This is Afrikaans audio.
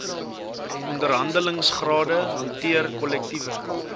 onderhandelingsrade hanteer kollektiewe